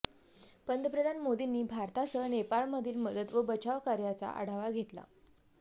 पंतप्रधान मोदींनी भारतासह नेपाळमधील मदत व बचावकार्याचा आढावा घेतला